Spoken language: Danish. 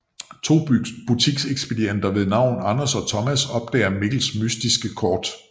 To butiksekspedienter ved navn Anders og Thomas opdager Mikkels mystiske kort